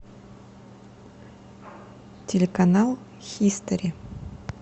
телеканал хистори